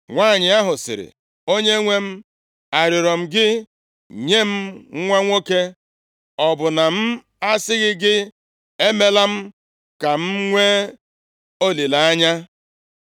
Nwanyị ahụ sịrị, “Onyenwe m, arịọrọ m gị nye m nwa nwoke? Ọ bụ na m asịghị gị, ‘emeela m ka m nwee olileanya’?”